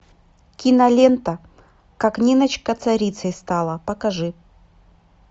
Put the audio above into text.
кинолента как ниночка царицей стала покажи